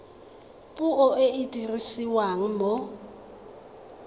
puo e e dirisiwang mo